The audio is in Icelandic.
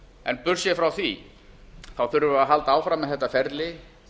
en burtséð frá því þurfum við að halda áfram með þetta ferli